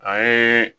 A ye